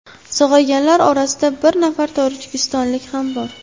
Sog‘ayganlar orasida bir nafar tojikistonlik ham bor.